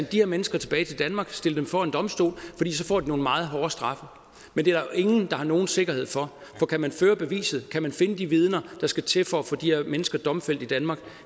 de her mennesker tilbage til danmark og stiller dem for en domstol får de nogle meget hårde straffe men det er der ingen der har nogen sikkerhed for for kan man føre beviset kan man finde de vidner der skal til for at få de her mennesker domfældt i danmark